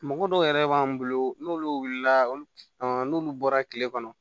Mɔgɔ dɔw yɛrɛ b'an bolo n'olu wulila olu n'olu bɔra kile kɔnɔ